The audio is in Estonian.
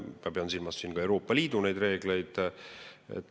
Ma pean siin silmas ka Euroopa Liidu reegleid.